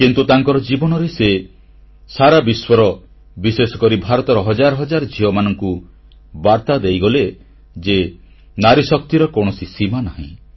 କିନ୍ତୁ ତାଙ୍କର ଜୀବନରେ ସେ ସାରା ବିଶ୍ୱର ବିଶେଷକରି ଭାରତର ହଜାର ହଜାର ଝିଅମାନଙ୍କୁ ଏ ବାର୍ତ୍ତା ଦେଇଗଲେ ଯେ ନାରୀଶକ୍ତିର କୌଣସି ସୀମା ନାହିଁ